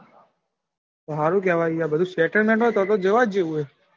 સારું કેવાય લ્યા બધું settlement હોય તો જવા જેવું હે.